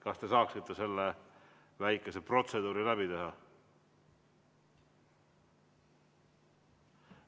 Kas te saaksite selle väikese protseduuri läbi teha?